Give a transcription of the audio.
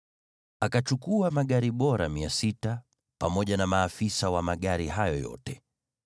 Akachukua magari bora mia sita, pamoja na magari mengine yote ya Misri, pamoja na maafisa wa magari hayo yote.